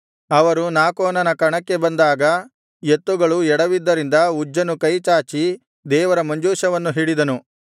ಅವರು ನಾಕೋನನ ಕಣಕ್ಕೆ ಬಂದಾಗ ಎತ್ತುಗಳು ಎಡವಿದ್ದರಿಂದ ಉಜ್ಜನು ಕೈಚಾಚಿ ದೇವರ ಮಂಜೂಷವನ್ನು ಹಿಡಿದನು